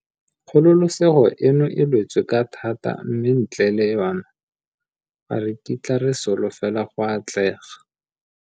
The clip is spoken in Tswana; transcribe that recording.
Kgololesego eno e lwetswe ka thata mme ntle le yona, ga re kitla re slofela go atlega.